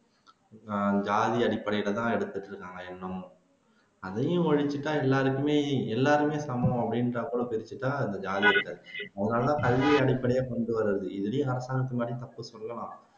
ஜாதி அடிப்படையிலதான் இருக்குது இன்னமும் அதையும் ஒழிச்சுட்டா எல்லாருக்குமே எல்லாமே சமம் அப்படின்றாபோலதான் இந்த ஜாதி முன்னாடி எல்லாம் கல்வி அடிப்படையா கொண்டுவரது இதுலயும் அரசாங்கத்து மேல தப்பு சொல்லலாம்